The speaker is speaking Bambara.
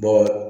Bɔ